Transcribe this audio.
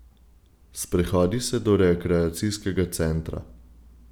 Sprehodi se do rekreacijskega centra.